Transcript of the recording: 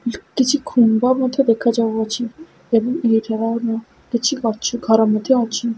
କ କିଛି ଖୁମ୍ବ ମଧ୍ୟ ଦେଖା ଯାଉଅଛି ଏବଂ ଏହି କିଛି ଗଛ ଘର ମଧ୍ୟ ଅଛି।